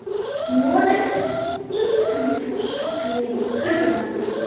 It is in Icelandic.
Noregs, einkum frá Sogni og Hörðalandi.